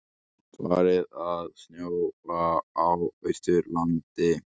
Farið að snjóa á Austurlandi